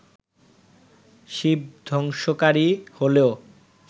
শিব ধ্বংসকারী হলেও